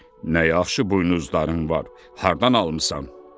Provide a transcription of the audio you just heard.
Nə yaxşı buynuzların var, hardan almısan?